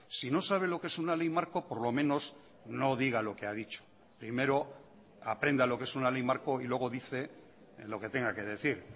si no sabe lo que es una ley marco por lo menos no diga lo que ha dicho primero aprenda lo que es una ley marco y luego dice lo que tenga que decir